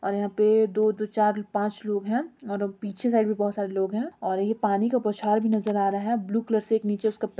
और यहाँ पे दो-दो चार पाँच लोग हैं और पीछे साइड भी बहाेत सारे लोग हैं और ये पानी का बौछार भी नजर आ रहा है। ब्लू कलर से नीचे उसका प --